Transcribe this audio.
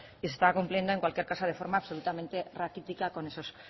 y se estaba cumpliendo en cualquier caso de forma absolutamente raquítica con esos